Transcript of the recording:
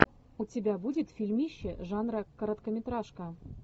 у тебя будет фильмище жанра короткометражка